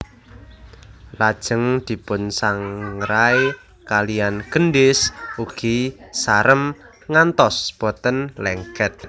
Lajeng dipunsangrai kaliyan gendhis ugi sarem ngantos boten lengket